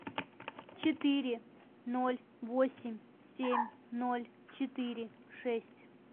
четыре ноль восемь семь ноль четыре шесть